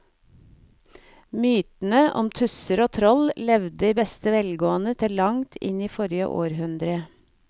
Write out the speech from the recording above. Mytene om tusser og troll levde i beste velgående til langt inn i forrige århundre.